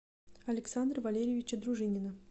александра валерьевича дружинина